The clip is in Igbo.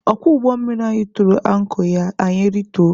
Ọkwọ ụgbọ mmiri anyị tụrụ ankọ ya anyị rituo.